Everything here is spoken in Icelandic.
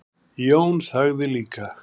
Jón þagði líka.